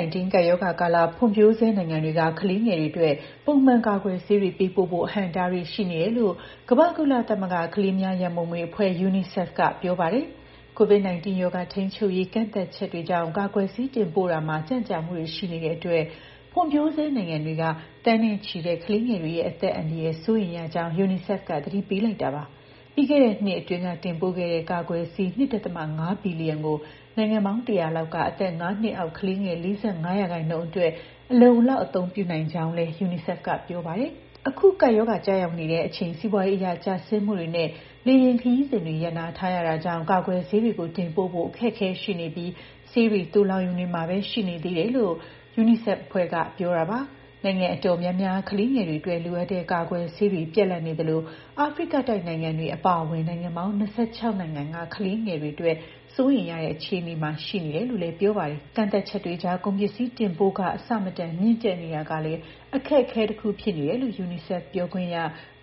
-19 ကပ်ရောဂါကာလ ဖွံ့ဖြိုးဆဲနိုင်ငံတွေက ကလေးငယ်တွေအတွက် ပုံမှန်ကာကွယ်ဆေးတွေ ပေးပို့ဖို့ အဟန့်အတားတွေ ရှိနေတယ်လို့ ကမ္ဘာ့ကုလသမဂ္ဂ ကလေးများရန်ပုံငွေအဖွဲ့ (UNICEF) ကပြောပါတယ်။ COVID-19 ရောဂါထိန်းချုပ်ရေး ကန့်သတ်ချက်တွေကြောင့် ကာကွယ်ဆေး တင်ပို့ရာမှာ ကြန့်ကြာမှုတွေ ရှိနေတဲ့အတွက် ဖွံ့ဖြိုးဆဲနိုင်ငံတွေက သန်းနဲ့ချီတဲ့ ကလေးငယ်တွေရဲ့ အသက်အန္တရာယ် စိုးရိမ်ရကြောင်း UNICEF က သတိပေးလိုက်တာပါ။ ပြီးခဲ့တဲ့နှစ်အတွင်းက တင်ပို့ခဲ့တဲ့ ကာကွယ်ဆေး ၂.၅ ဘီလီယံကို နိုင်ငံပေါင်း ၁၀၀ လောက်က အသက် ၅ နှစ်အောက် ကလေးငယ် ၄၅ ရာခိုင်နှုန်းအတွက် အလုံအလောက် အသုံးပြုနိုင်ခဲ့ကြောင်းလည်း UNICEF က ပြောပါတယ်။ အခု ကပ်ရောဂါကျရောက်နေတဲ့အချိန် စီးပွားရေးအရ ကျဆင်းမှုတွေနဲ့ လေယာဉ်ခရီးစဉ်တွေလည်း ရပ်နားထားတာကြောင့် ကာကွယ်ဆေးတွေကို တင်ပို့ဖို့ အခက်အခဲရှိနေပြီး ဆေးတွေ သိုလှောင်ရုံတွေမှာပဲ ရှိနေသေးတယ်လို့ UNICEF အဖွဲ့က ပြောတာပါ။ နိုင်ငံအတော်များများ ကလေးငယ်တွေအတွက် လိုအပ်တဲ့ ကာကွယ်ဆေးတွေ ပြတ်လပ်နေသလို အာဖရိကတိုက်နိုင်ငံတွေ အပါအဝင် နိုင်ငံပေါင်း ၂၆ နိုင်ငံက ကလေးငယ်တွေအတွက် စိုးရိမ်ရတဲ့ အခြေအနေမှာ ရှိတယ်လို့ ပြောပါတယ်။ ကန့်သတ်ချက်တွေကြား ကုန်ပစ္စည်းတင်ပို့ခ အဆမတန် မြင့်တက်နေတာကလည်း အခက်အခဲတခု ဖြစ်နေတယ်လို့ UNICEF ပြောခွင့်ရ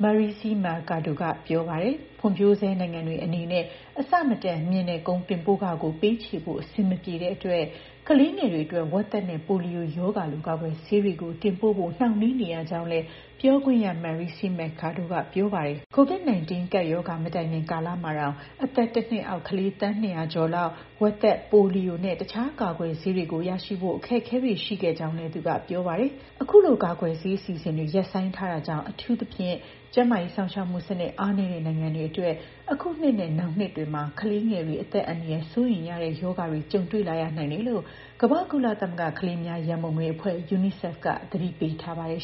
Marixie Mercado က ပြောပါတယ်။ ဖွံ့ဖြိုးဆဲနိုင်ငံတွေအနေနဲ့ အဆမတန်မြင့်တဲ့ ကုန်တင်ပို့ခကို ပေးချေဖို့ အဆင်မပြေနိုင်တဲ့အတွက် ကလေးငယ်တွေအတွက် ဝက်သက်နဲ့ ပိုလီယိုရောဂါလို ကာကွယ်ဆေးတွေကို တင်ပို့ဖို့ နှောင့်နှေးနေရကြောင်းလည်း ပြောခွင့်ရ Marixie Mercado ကပြောပါတယ်။ COVID-19 ကပ်ရောဂါ မတိုင်မီကာလမှာတောင် အသက် ၁ နှစ်အောက်ကလေး သန်း ၂၀၀ ကျော်လောက် ဝက်သက်၊ ပိုလီယိုနဲ့ တခြားကာကွယ်ဆေးတွေကို ရရှိဖို့ အခက်အခဲတွေ ရှိခဲ့ကြောင်းလည်း သူကပြောပါတယ်။ အခုလို ကာကွယ်ဆေးအစီအစဉ်တွေကို ရပ်ဆိုင်းထားတာကြောင့် အထူးသဖြင့် ကျန်းမာရေးစောင့်ရှောက်မှုစနစ် အားနည်းတဲ့ နိုင်ငံတွေအတွက် အခုနှစ်နဲ့ နောင်နှစ်တွေမှာ ကလေးငယ်တွေ အသက်အန္တရာယ် စိုးရိမ်ရတဲ့ ရောဂါတွေ ကြုံတွေ့လာရနိုင်တယ်လို့ ကမ္ဘာ့ကုလသမဂ္ဂ ကလေးများရန်ပုံငွေအဖွဲ့ (UNICEF) က သတိပေးထားပါတယ်